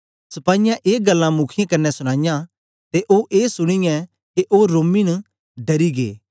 सपाईयें ए गल्लां मुखीयें कन्ने सूनाईयां ते ओ ए सुनीयै के ओ रोमी न डरी गै